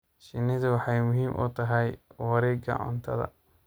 Shinnidu waxay muhiim u tahay wareegga cuntada.